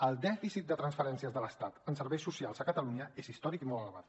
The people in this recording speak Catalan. el dèficit de transferències de l’estat en serveis socials a catalunya és històric i molt elevat